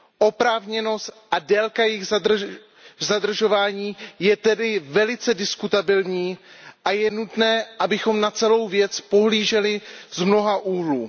Oprávněnost a délka jejich zadržování je tedy velice diskutabilní a je nutné, abychom na celou věc pohlíželi z mnoha úhlů.